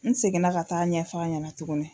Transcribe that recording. N seginna ka taa ɲɛf'a ɲɛnɛ tuguni